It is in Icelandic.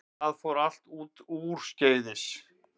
Það fór allt úrskeiðis